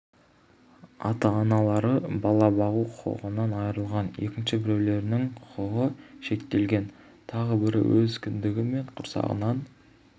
ата-аналары бала бағу құқығынан айырылған екінші біреулерінің құқығы шектелген тағы бірі өз кіндігі мен құрсағынан